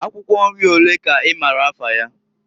Akwukwo nri olee ka i maara afa ya?